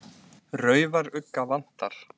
Raufarugga vantar.